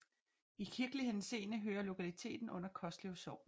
I kirkelig henseende hører lokaliteten under Koslev Sogn